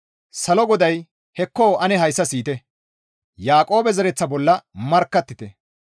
Salo GODAY, «Hekko ane hayssa siyite! Yaaqoobe zereththa bolla markkattite.